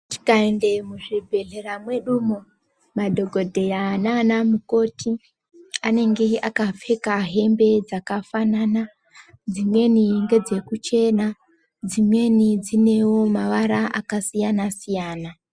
Tikaenda muzvibhedhlera mwedumwo, madhokodheya nana mukoti anenge akapfeka hembe dzakafanana. Dzimweni ngedze kuchena, dzimweni dzinewo mavara akasiyana -siyana.